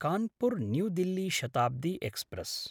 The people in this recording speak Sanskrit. कानपुर्–न्यू दिल्ली शताब्दी एक्स्प्रेस्